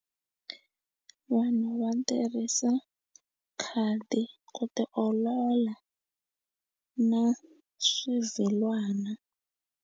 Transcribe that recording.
Vanhu va tirhisa khadi ku ti olola na swivhilwana.